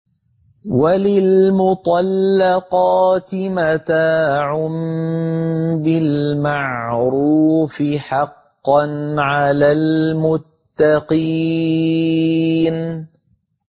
وَلِلْمُطَلَّقَاتِ مَتَاعٌ بِالْمَعْرُوفِ ۖ حَقًّا عَلَى الْمُتَّقِينَ